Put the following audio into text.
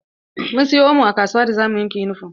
Mun siya omo a kasuwa da zamu wanke yunifom.